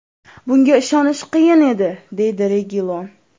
Bunga ishonish qiyin edi!”, deydi Regilon.